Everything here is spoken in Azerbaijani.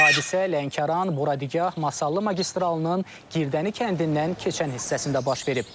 Hadisə Lənkəran-Buradigah-Masallı magistralının Girdəni kəndindən keçən hissəsində baş verib.